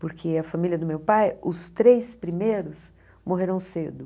Porque a família do meu pai, os três primeiros morreram cedo.